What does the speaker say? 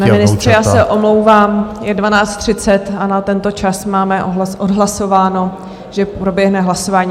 Pane ministře, já se omlouvám, je 12.30 a na tento čas máme odhlasováno, že proběhne hlasování.